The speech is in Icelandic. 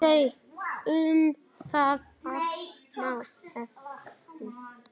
Um það allt má efast.